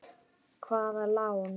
Hvaða lán?